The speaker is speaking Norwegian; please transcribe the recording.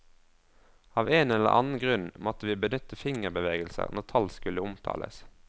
Av en eller annen grunn måtte vi benytte fingerbevegelser når tall skulle omtales.